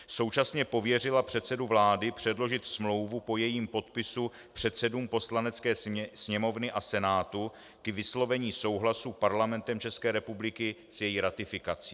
Současně pověřila předsedu vlády předložit smlouvu po jejím podpisu předsedům Poslanecké sněmovny a Senátu k vyslovení souhlasu Parlamentem České republiky s její ratifikací.